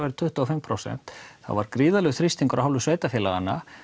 væru tuttugu og fimm prósent þá var gríðarlegur þrýstingur af hálfu sveitarfélaganna